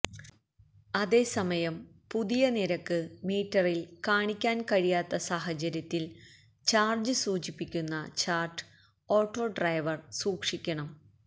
അതേസമയം പുതിയ നിരക്ക് മീറ്ററില് കാണിക്കാന് കഴിയാത്ത സാഹചര്യത്തില് ചാര്ജ്ജ് സൂചിപ്പിക്കുന്ന ചാര്ട്ട് ഓട്ടോ ഡ്രൈവര് സൂക്ഷിക്കണം